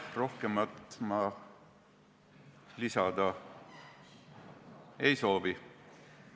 Rohkemat ma lisada ei soovi.